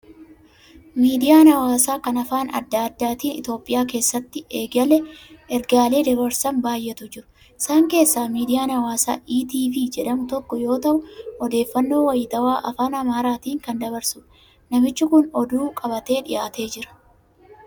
Miidiyaan hawaasaa kan afaan adda addaatiin Itoophiyaa keessatti ergaalee dabarsan baay'eetu jiru. Isaan keessaa miidiyaan hawaasaa ETV jedhamu tokko yoo ta'u, odeeffannoo wayitaawaa afaan Amaaraatiin kan dabarsudha. Namichi kun oduu qabatee dhiyaatee jira.